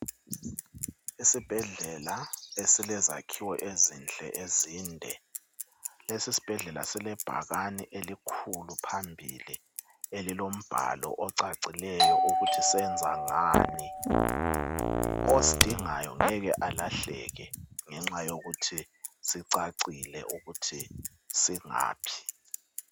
Isibhedlela esilezakhiwo ezinhle ezinde. Lesi isibhedlela sile bhakani elikhulu phambili elilombalo ocacileyo ukuthi senza ngani. Osidingayo ngeke alahleke ngenxa yokuthi sicacile ukuthi singaphi.